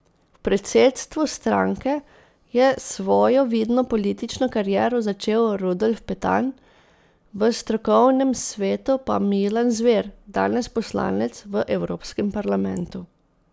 V predsedstvu stranke je svojo vidno politično kariero začel Rudolf Petan, v strokovnem svetu pa Milan Zver, danes poslanec v Evropskem parlamentu.